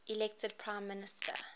elected prime minister